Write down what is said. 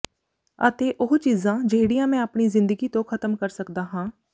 ਅਤੇ ਉਹ ਚੀਜ਼ਾਂ ਜਿਹੜੀਆਂ ਮੈਂ ਆਪਣੀ ਜ਼ਿੰਦਗੀ ਤੋਂ ਖ਼ਤਮ ਕਰ ਸਕਦਾ ਹਾਂ